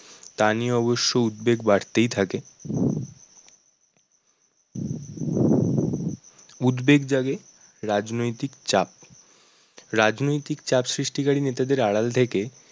তা নিয়ে অবশ্য উদ্বেগ বাড়তেই থাকে। উদ্বেগ জাগে, রাজনৈতিক চাপ, রাজনৈতিক চাপ সৃষ্টিকারি নেতাদের আড়াল থেকে